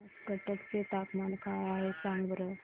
आज कटक चे तापमान काय आहे सांगा बरं